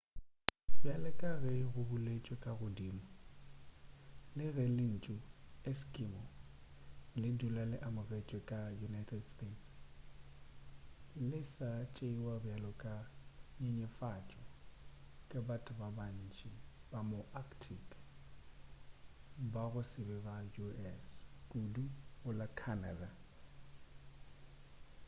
bjale ka ge go boletšwe ka godimo le ge lentšu eskimo le dula le amogelegile go la united states le sa tšeiwa bjalo ka nyenyefatšo ke batho ba bantši ba ma arctic ba go se ba sa u.s. kudu go la canada